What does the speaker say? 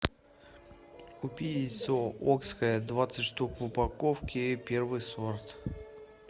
купи яйцо окское двадцать штук в упаковке первый сорт